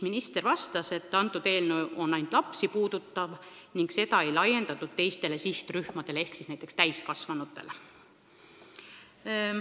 Minister vastas, et see eelnõu puudutab ainult lapsi, see ei laiene teistele sihtrühmadele ehk siis näiteks täiskasvanutele.